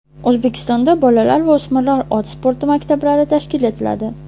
O‘zbekistonda bolalar va o‘smirlar ot sporti maktablari tashkil etiladi.